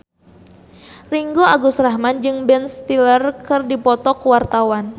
Ringgo Agus Rahman jeung Ben Stiller keur dipoto ku wartawan